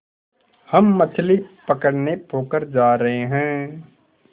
हम मछली पकड़ने पोखर जा रहें हैं